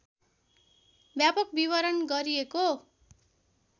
व्यापक विवरण गरिएको